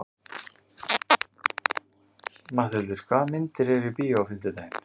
Matthildur, hvaða myndir eru í bíó á fimmtudaginn?